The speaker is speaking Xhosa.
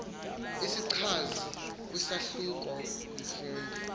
izichazi kwisahluko umfundi